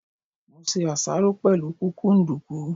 Mo ṣe àṣáró pẹ̀lú kúkúǹdùkú.